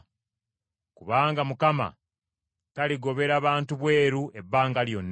Kubanga Mukama taligobera bantu bweru ebbanga lyonna.